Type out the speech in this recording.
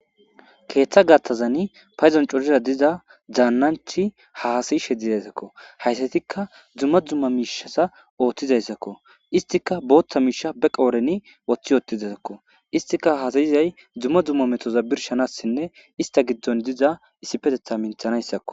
Keeththa gathazani payzon corira diza daannanchi haasayi sheddizayssakko hayssatikka dzumma dzumma miishasa ooththizayssakko istika booththa miisha be qooreni woththi yoottizaakko istika hasayizay dzumma dzumma metoza birshanassinne ista giddon diza issipetetha minthanayssakko.